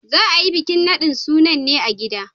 Za a yi bikin nadin sunan ne a gida.